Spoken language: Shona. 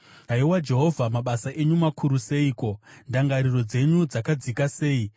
Haiwa Jehovha, mabasa enyu makuru seiko, ndangariro dzenyu dzakadzika sei!